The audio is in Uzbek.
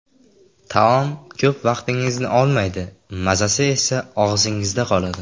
Taom ko‘p vaqtingizni olmaydi, mazasi esa og‘zingizda qoladi.